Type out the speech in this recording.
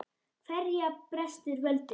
Hverja brestur völdin?